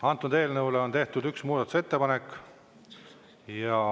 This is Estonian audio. Antud eelnõule on tehtud üks muudatusettepanek.